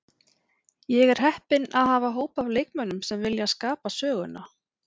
Ég er heppinn að hafa hóp af leikmönnum sem vilja skapa söguna.